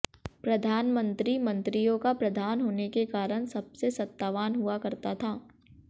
प्रधानमंत्री मंत्रियों का प्रधान होने के कारण सबसे सत्तावान हुआ करता था